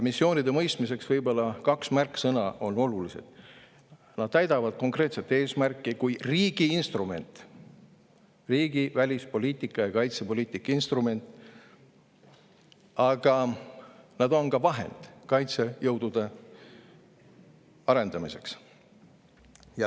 Missioonide mõistmiseks on olulised kaks märksõna: nad täidavad konkreetset eesmärki kui riigi instrument, riigi välispoliitika ja kaitsepoliitika instrument, aga nad on ka vahend kaitsejõudude arendamiseks.